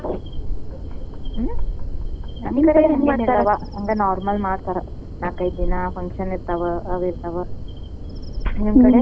ನಮ್ ಕಡೆ ಎಲ್ಲ normal ಮಾಡ್ತಾರ ನಾಲ್ಕೈದ ದಿನ function ಇರ್ತಾವ ನಿಮ್ಮ ಕಡೆ?